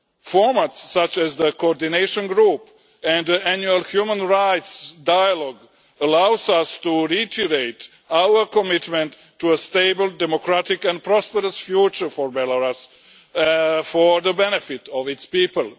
Formats, such as the Coordination Group and the Annual Human Rights Dialogue, allow us to reiterate our commitment to a stable, democratic and prosperous future for Belarus for the benefit of its people.